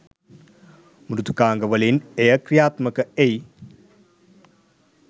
මෘදුකාංග වලින් එය ක්‍රියාත්මක එයි.